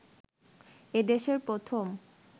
এ দেশের প্রথম